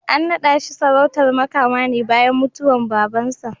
An naɗa shi sarautar Makama ne bayan mutuwar Babansa.